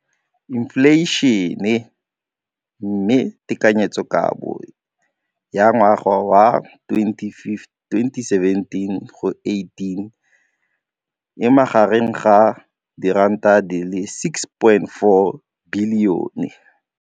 Infleišene, mme tekanyetsokabo ya 2017 go ya go 2018 e magareng ga R6.4 bilione.